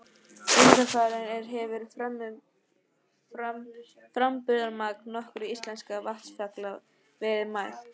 Undanfarin ár hefur framburðarmagn nokkurra íslenskra vatnsfalla verið mælt.